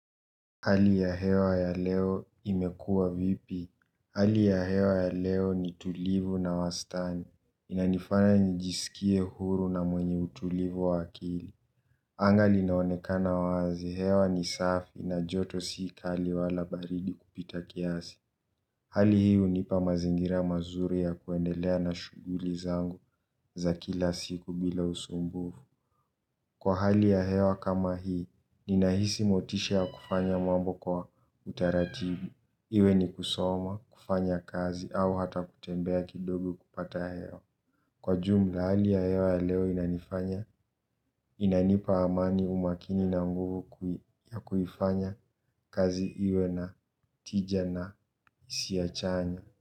Hali ya hewa ya leo imekua vipi? Hali ya hewa ya leo ni tulivu na wastani. Inanifanya nijisikie huru na mwenye utulivu wa akili. Anga linaonekana wazi, hewa ni safi na joto si kali wala baridi kupita kiasi. Hali hii hunipa mazingira mazuri ya kuendelea na shughuli zangu za kila siku bila usumbufu. Kwa hali ya hewa kama hii, ninahisi motisha ya kufanya mambo kwa utaratibi, iwe ni kusoma, kufanya kazi, au hata kutembea kidogo kupata hewa. Kwa jumla, hali ya hewa ya leo inanifanya, inanipa amani umakini na nguvu ya kuifanya kazi iwe na tija na si ya chanya.